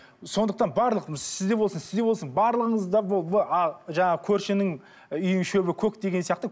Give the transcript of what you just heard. сондықтан барлық сізде болсын сізде болсын барлығыңызда жаңағы көршінің үйінің шөбі көк деген сияқты